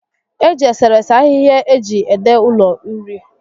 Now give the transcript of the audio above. Eji eserese ahịhịa eji ede ụlọ uri